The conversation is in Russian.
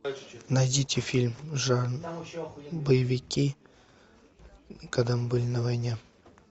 найдите фильм жанр боевики когда мы были на войне